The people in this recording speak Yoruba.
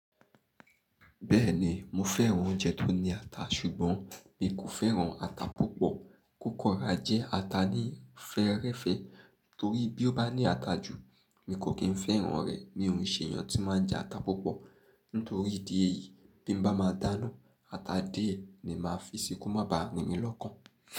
Bẹ́ẹ̀ni, mo fẹ́ran oúnjẹ tó ní ata ṣùgbọ́n mi kò fẹ́ran ata púpọ̀. Kókò rà jẹ́ ata ní fẹ́rẹ́fẹ́ torí bí ó bá ní ata jù, mi kò kí n fẹ́ran rẹ̀. Ni òrìṣìírìṣìí èèyàn tí máa ń jẹ ata púpọ̀. Nítorí ìdí èyí, bí mo bá máa dáná, ata díẹ̀ ni màá fi sí ko má ba rìn mí lọ́kàn.